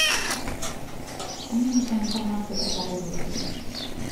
мне нужна информация про погоду в отеле